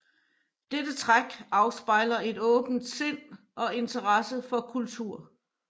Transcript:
Dette træk afspejler et åbent sind og interesse for kultur